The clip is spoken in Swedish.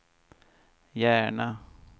Järna